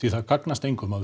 það gagnast engum að við